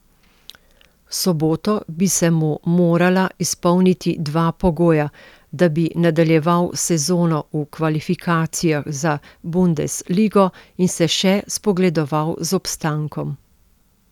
V soboto bi se mu morala izpolniti dva pogoja, da bi nadaljeval sezono v kvalifikacijah za bundesligo in se še spogledoval z obstankom.